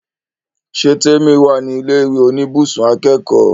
Ṣé Témì wà ní ilẹ̀ ìwé oníbùsùn akẹ́kọ̀ọ́?